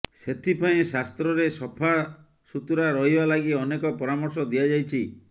ସେଥିପାଇଁ ଶାସ୍ତ୍ରରେ ସଫା ସୁତୁରା ରହିବା ଲାଗି ଅନେକ ପରାମର୍ଶ ଦିଆଯାଇଛି